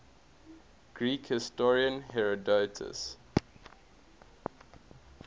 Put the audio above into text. greek historian herodotus